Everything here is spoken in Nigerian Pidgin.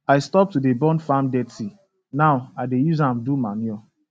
i stop to dey burn farm dirty now i dey use am do manure